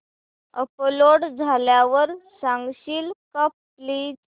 upload झाल्यावर सांगशील का प्लीज